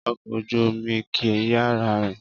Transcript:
Ọkọ̀ ojú-omi kì í yára rìn